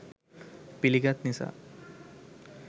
පිළිගත් නිසා